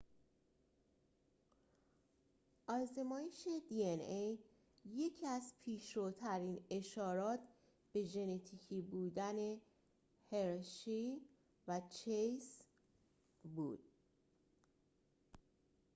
آزمایش hershey و chase یکی از پیشروترین اشارات به ژنتیکی بودن dna بود